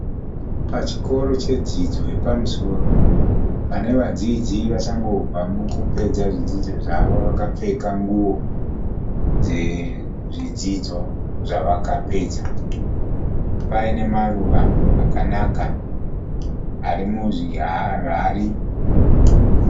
Pachikoro chedzidzo yapamusoro, pane vadzidzi vachangobva mukupedza zvidzidzo zvavo vakapfeka nguo dzezvidzidzo zvavakapedza, paine maruva akanaka ari muzviharihari.